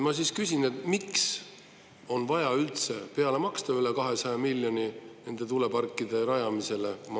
Ma küsin, miks on vaja üldse üle 200 miljoni euro peale maksta tuuleparkide rajamisele.